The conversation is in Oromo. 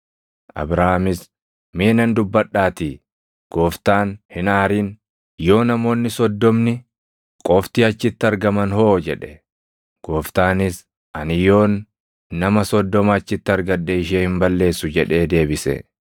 Abrahaamis, “Mee nan dubbadhaatii Gooftaan, hin aarin. Yoo namoonni soddomni qofti achitti argaman hoo?” jedhe. Gooftaanis, “Ani yoon nama soddoma achitti argadhe ishee hin balleessu” jedhee deebise.